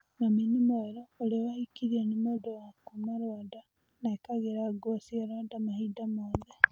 Mami nĩ mwerũũrĩa wahikirio nĩ mũndũwa kuuma Rwanda na ekagĩra nguo cia Rwanda mahinda mothe.